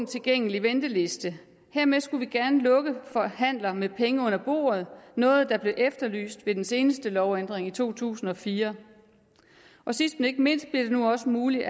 tilgængelig venteliste hermed skulle vi gerne lukke af for handler med penge under bordet noget der blev efterlyst ved den seneste lovændring i to tusind og fire sidst men ikke mindst bliver det nu også muligt